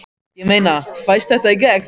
Ég meina, fæst þetta í gegn?